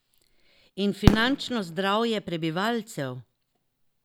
In finančno zdravje prebivalcev?